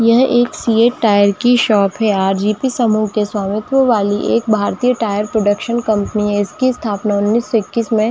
यह एक CEAT tyre की शॉप है आर.जी.पी. समहू के स्वामित वाली एक भारती टायर प्रोडक्शन कंपनी है इसकी स्थापना उन्नीस सो इक्कीस में --